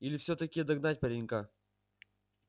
или всё-таки догнать паренька